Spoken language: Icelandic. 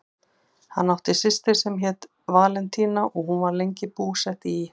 Hann átti systur sem hét Valentína og hún var lengi búsett í